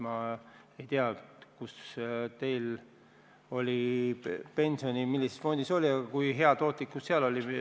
Ma ei tea, millises fondis teie pension oli, kui hea tootlikkus seal oli.